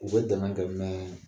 U bɛ dɛmɛ kɛ